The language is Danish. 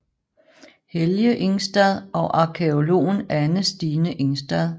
Helge Ingstad og arkæologen Anne Stine Ingstad